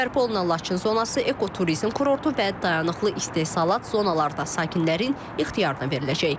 Bərpa olunan Laçın zonası ekoturizm kurortu və dayanıqlı istehsalat zonaları da sakinlərin ixtiyarına veriləcək.